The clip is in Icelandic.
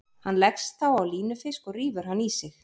Hann leggst þá á línufisk og rífur hann í sig.